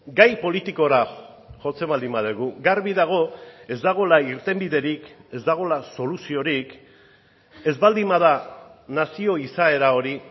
gai politikora jotzen baldin badugu garbi dago ez dagoela irtenbiderik ez dagoela soluziorik ez baldin bada nazio izaera hori